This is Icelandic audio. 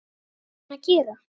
Hvað á hann að gera?